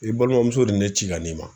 I balimamuso de ye ne ci ka n'i ma